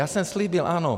Já jsem slíbil, ano.